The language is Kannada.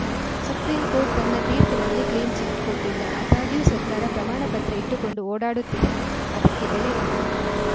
ಸುಪ್ರೀಂಕೋರ್ಟ್‌ ತನ್ನ ತೀರ್ಪಿನಲ್ಲಿ ಕ್ಲೀನ್‌ಚಿಟ್‌ ಕೊಟ್ಟಿಲ್ಲ ಆದಾಗ್ಯೂ ಸರ್ಕಾರ ಪ್ರಮಾಣಪತ್ರ ಇಟ್ಟುಕೊಂಡು ಓಡಾಡುತ್ತಿದೆ ಅದಕ್ಕೆ ಬೆಲೆ ಇಲ್ಲ